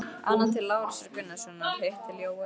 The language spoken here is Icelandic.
Annað til Lárusar Gunnarssonar, hitt til Jóels.